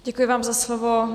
Děkuji vám za slovo.